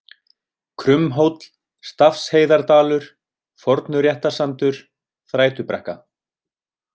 Krummhóll, Stafsheiðardalur, Fornuréttarsandur, Þrætubrekka